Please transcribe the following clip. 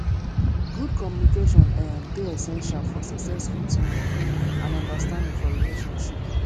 good communication um dey essential for successful teamwork and understanding for relationship